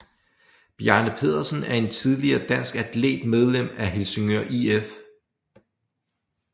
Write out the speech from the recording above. Bjarne Pedersen er en tidligere dansk atlet medlem af Helsingør IF